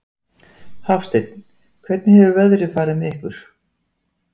Hafsteinn: Hvernig hefur veðrið farið með ykkur?